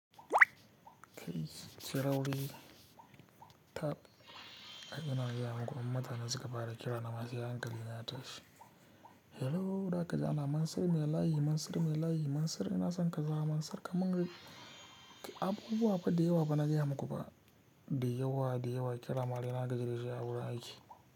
Kai Siraudi tap, ina gaya muku in mutane suka fara kira na ma sai hankali na ya tashi. Hello, da kaji ana, Mansir me layi? Mansir me layi? Mansir ina son ka za, Mansir ka min ga. Abubuwa fa dayawa fa na gaya muku ba. Dayawa, dayawa, kira ma dai na gaji dashi a wurin aiki.